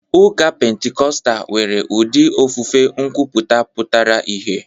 Ụka Pentikọstal nwere ụdị ofufe nkwuputa pụtara ìhè.